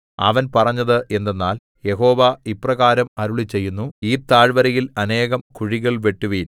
അവൻ പറഞ്ഞത് എന്തെന്നാൽ യഹോവ ഇപ്രകാരം അരുളിച്ചെയ്യുന്നു ഈ താഴ്വരയിൽ അനേകം കുഴികൾ വെട്ടുവിൻ